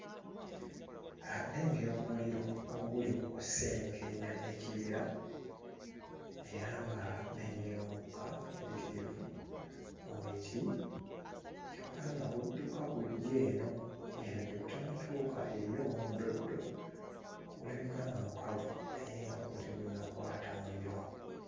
Ah nnengera omuliro oguli mu kusenkenya ekibira era nga nnengera omukka muyitirivu mu miti kyokka nga gudduka gujja eno eno gye gutannatuuka eriyo omuddoddo ogulabika nga mukalu naye nga ggwo tegunnakwata muliro.